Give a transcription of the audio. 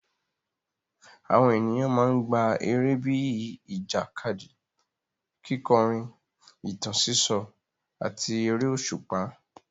Àwọn ènìyàn máa ń gbá eré bíi ìjàkadì, kíkọrin, ìtàn sísọ, àti eré òṣùpá.